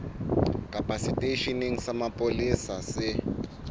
kapa seteisheneng sa mapolesa se